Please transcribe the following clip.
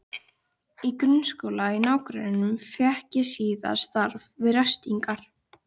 Í grunnskóla í nágrenninu fékk ég síðan starf við ræstingar.